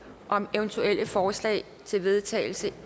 om eventuelle forslag til vedtagelse